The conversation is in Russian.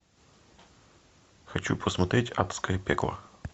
хочу посмотреть адское пекло